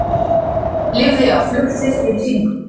Lifði af flugslys fyrir sýningu